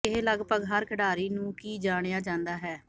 ਇਹ ਲਗਭਗ ਹਰ ਖਿਡਾਰੀ ਨੂੰ ਕੀ ਜਾਣਿਆ ਜਾਂਦਾ ਹੈ